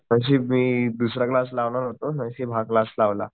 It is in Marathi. नशीब मी दुसरा क्लास लावणार होतो नशीब हा क्लास लावला